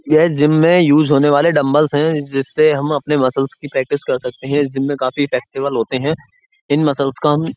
यह जिम में यूज होने वाला डम्बलस है जिससे हम अपनी मसल्स की प्रैक्टिस कर सकते हैं। जिम में काफी प्रैक्टिकल होते हैं। इन मसल्स का हम --